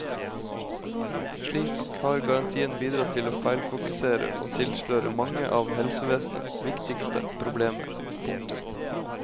Slik har garantien bidratt til å feilfokusere og tilsløre mange av helsevesenets viktigste problemer. punktum